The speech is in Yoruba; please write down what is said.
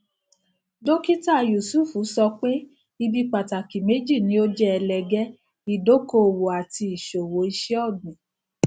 dókítà yusuf sọ pé ibi pàtàkì méjì ni ó jẹ ẹlẹgẹ ìdókòwò àti ìṣòwò iṣẹ ọgbìn